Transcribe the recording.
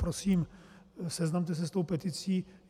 Prosím, seznamte se s tou peticí.